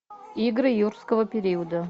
игры юрского периода